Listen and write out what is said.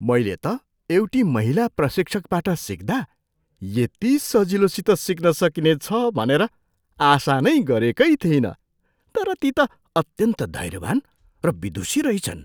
मैले त एउटी महिला प्रशिक्षकबाट सिक्दा यति सजिलोसित सिक्न सकिनेछ भनेर आशा नै गरेकै थिइनँ तर ती त अत्यन्त धैर्यवान् र विदुषी रहिछन्।